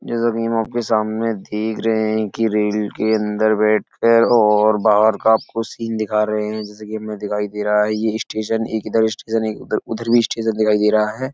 जैसा कि हम आपके सामने देख रहे हैं कि रेल के अंदर बैठ कर और बाहर का आपको सीन दिखा रहे हैं। जैसे कि हमें दिखाई दे रहा है ये स्टेशन एक इधर स्टेशन एक उधर उधर भी स्टेशन दिखाई दे रहा है।